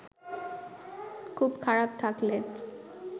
খুব খারাপ থাকলে